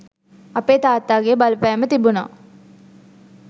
අපේ තාත්තාගේ බලපෑම තිබුණා.